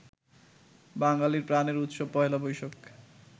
বাঙালির প্রাণের উৎসব পহেলা বৈশাখ